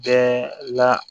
Bɛɛ la